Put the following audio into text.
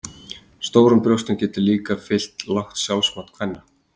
Stórum brjóstum getur líka fylgt lágt sjálfsmat kvenna.